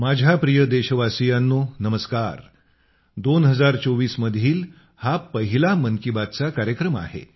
माझ्या प्रिय देशवासियांनो नमस्कार 2024 मधील हा पहिला मन की बात चा कार्यक्रम आहे